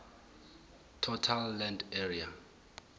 total land area